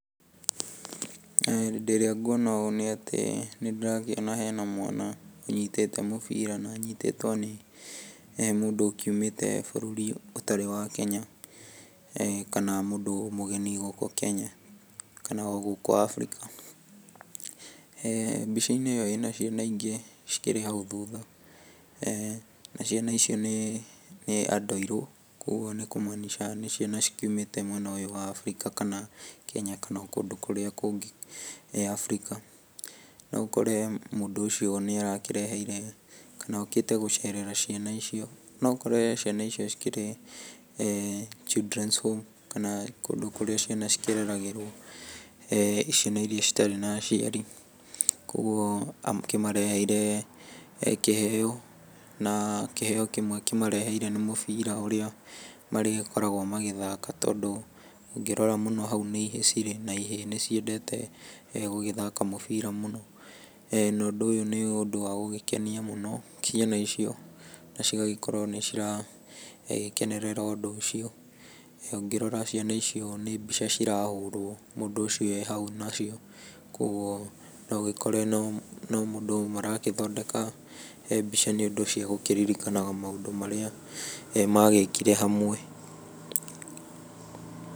Hĩndĩ ĩrĩa ngwona ũũ nĩ atĩ, nĩ ndĩrakĩona hena mwana ũnyitĩte mũbira, na anyitĩtwo nĩ mũndũ ũkiumĩte bũrũri ũtarĩ wa Kenya, kana mũndũ mũgeni gũkũ Kenya, kana o gũkũ Afrika. Mbica-inĩ ĩyo ĩna ciana ingĩ cikĩrĩ hau thutha. Na ciana icio nĩ andũ airũ, kogwo nĩ kũmaanisha nĩ ciana cikiũmĩte mwena ũyũ wa Afrika, kana Kenya kana o kũndũ kũrĩa kũngĩ Afrika. No ũkore mũndũ ũcio nĩ arakĩreheire, kana okĩte gũcerera ciana icio. No ũkore ciana icio cikĩrĩ Children's Home, kana kũndũ kũrĩa ciana cikĩreragĩrwo, ciana iria citarĩ na aciari. Kogwo akĩmareheire kĩheo na kĩheo kĩmwe akĩmareheire nĩ mũbira ũrĩa marĩgĩkoragwo magĩthaka tondũ ũngĩrora mũno hau nĩ ihĩĩ cirĩ, na ihĩĩ nĩ ciendete gũgĩthaka mũbira mũno. Na ũndũ ũyũ nĩ ũndũ wa gũgĩkenia mũno ciana icio, na cigagĩkorwo nĩ ciragĩkenerera ũndũ ũcio. Ũngĩrora ciana icio nĩ mbica cirahũrwo mũndũ ũcio ee hau nacio. Kogwo no ũgĩkore no mũndũ maragĩthondeka mbica nĩ ũndũ ciĩgũkĩririkanaga maũndũ marĩa magĩkire hamwe.